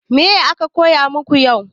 Me aka koya maku yau?